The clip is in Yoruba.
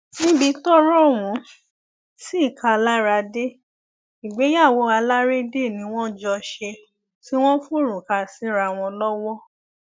níbi tọrọ ọhún sì ká a lára dé ìgbéyàwó alárédè ni wọn jọ ṣe tí wọn forúka síra wọn lọwọ